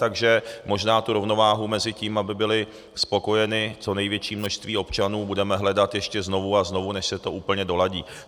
Takže možná tu rovnováhu mezi tím, aby bylo spokojeno co největší množství občanů, budeme hledat ještě znovu a znovu, než se to úplně doladí.